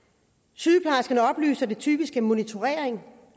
sygeplejerskerne oplyser at det typisk er monitorering